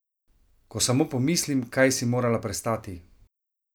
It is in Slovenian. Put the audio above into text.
Ko samo pomislim, kaj si morala prestati!